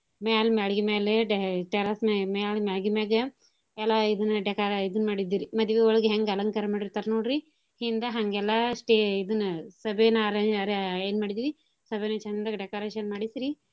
ಮ್ಯಾಲ್ ಮ್ಯಾಳ್ಗಿ ಮ್ಯಾಲೇ te~ terrace ಮ್ಯಾಲ್, ಮ್ಯಾಲ್ ಮ್ಯಾಳ್ಗಿ ಮ್ಯಾಗ ಎಲ್ಲಾ ಇದನ್ನ ಡೆಕಾ~ ಇದನ್ ಮಾಡಿದ್ವಿ ರಿ ಮದ್ವಿ ಒಳಗ ಹೆಂಗ ಅಲಂಕಾರ ಮಾಡಿರ್ತಾರ್ ನೋಡ್ರಿ ಹಿಂದ ಹಂಗೆಲ್ಲಾ ಸ್ಟೆ~ ಇದನ್ನ ಸಭೆನ ಅರೆ~ ಎ ಎನ್ ಮಾಡಿದ್ವಿ ಸಭೇನ ಚಂದಗ decoration ಮಾಡಿರ್ಸಿ.